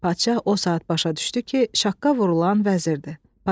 Padşah o saat başa düşdü ki, şaqqa vurulan vəzirdir.